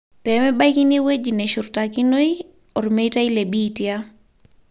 Pemebakini eweji neshurtakinoi ormeitai le Bitia.